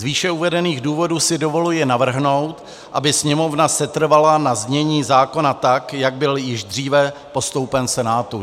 Z výše uvedených důvodů si dovoluji navrhnout, aby Sněmovna setrvala na znění zákona tak, jak byl již dříve postoupen Senátu.